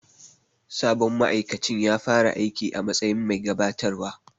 Sabon ma'aikacin ya fara aiki s matsayin bai gabatarwa.